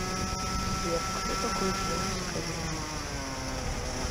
сбер кто такой джеймс кэмерон